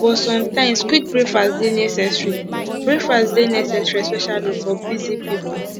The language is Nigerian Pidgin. but sometimes quick breakfast dey necessary breakfast dey necessary especially for busy people